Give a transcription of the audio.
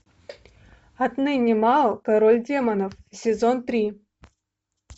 отныне мао король демонов сезон три